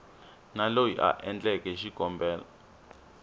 na loyi a endleke xikombelo